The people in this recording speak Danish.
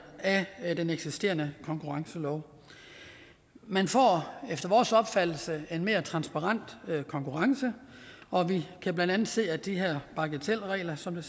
af den eksisterende konkurrencelov man får efter vores opfattelse en mere transparent konkurrence og vi kan blandt andet se til de her bagatelregler som